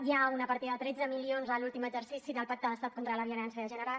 hi ha una partida de tretze milions en l’últim exercici del pacte d’estat contra la violència de gènere